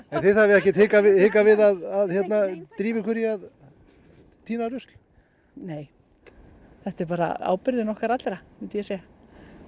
þið hafið ekkert hikað við hikað við að drífa ykkur í að tína rusla nei þetta er bara ábyrgðin okkar allra myndi ég segja það